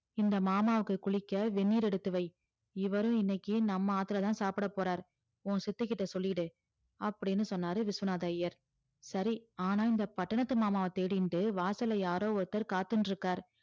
இந்த மாமாவுக்கு குளிக்க வென்னீர் எடுத்து வை இவரும் இன்னக்கி நம்ப ஆத்துல தான் சாப்புட போறாரு உன் சித்தி கிட்ட சொல்லிடு அப்டின்னு சொன்னாரு விஸ்வநாதர் ஐயர் சரி ஆனா இந்த பட்டணத்து மாமாவ தேடிண்டு வாசல்ல யாரோ ஒருவர் காத்துட்டு இருக்காறு